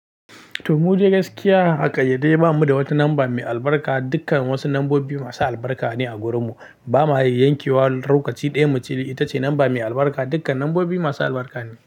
To mude gaskiya, a ƙaryarte bamu da wata namba mai albarka dukkan wasu nambobi masu albarka ne a garinmu. Bamu hanyar yankewa, lokaci ɗaya mace ita ce namba mai albarka dukkan nambobi masu albarka ne.